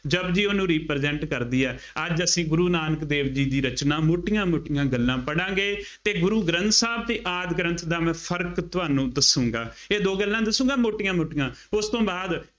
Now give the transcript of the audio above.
ਜਪੁਜੀ ਉਹਨੂੰ represent ਕਰਦੀ ਆ, ਅੱਜ ਅਸੀਂ ਗੁਰੂ ਨਾਨਕ ਦੇਵ ਜੀ ਦੀ ਰਚਨਾ ਮੋਟੀਆਂ ਮੋਟੀਆਂ ਗੱਲ੍ਹਾਂ ਪੜਾਂਗੇ ਅਤੇ ਗੁਰੂ ਗ੍ਰੰਥ ਸਾਹਿਬ ਅਤੇ ਆਦਿ ਗ੍ਰੰਥ ਦਾ ਮੈਂ ਫਰਕ ਤੁਹਾਨੂੰ ਦੱਸੂਗਾਂ, ਇਹ ਦੋ ਗੱਲ੍ਹਾਂ ਦੱਸੂਗਾਂ ਮੋਟੀਆਂ ਮੋਟੀਆਂ ਉਸ ਤੋਂ ਬਾਅਦ